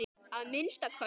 Að minnsta kosti.